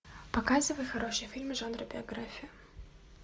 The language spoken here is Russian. показывай хорошие фильмы жанра биография